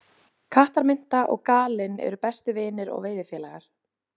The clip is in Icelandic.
Kattarmynta og Galinn eru bestu vinir og veiðifélagar.